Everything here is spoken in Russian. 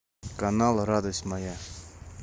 канал радость моя